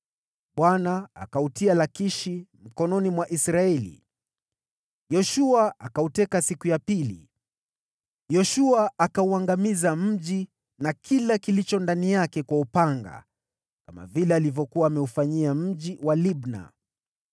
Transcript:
Bwana akautia Lakishi mikononi mwa Israeli, Yoshua akauteka siku ya pili. Yoshua akauangamiza mji na kila kilichokuwa ndani yake kwa upanga, kama tu vile alivyokuwa ameufanyia mji wa Libna.